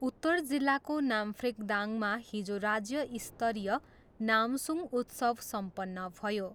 उत्तर जिल्लाको नाम्फ्रिकदाङमा हिजो राज्य स्तरीय नामसुङ उत्सव सम्पन्न भयो।